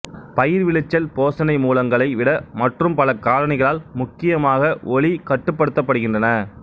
பயிர் விளைச்சல் போசணை மூலகங்களை விட மற்றும் பல காரணிகளால் முக்கியமாக ஒளி கட்டுப்படுத்தப்படுகின்றன